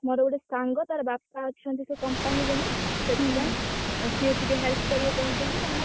ମୋର ଗୋଟେ ସାଙ୍ଗ ତାର ବାପା ଅଛନ୍ତି ସେ company ରେ ନା ସେଥିପାଇଁ ସିଏ ଟିକେ help କରିବେ କହିଛନ୍ତି